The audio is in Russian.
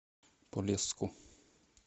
полесску